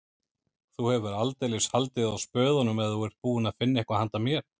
Þú hefur aldeilis haldið á spöðunum ef þú ert búinn að finna eitthvað handa mér